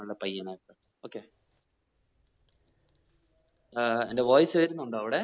പയ്യനാ okay ഏർ എന്റ്റെ voice വരുന്നുണ്ടോ അവിടെ?